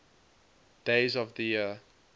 days of the year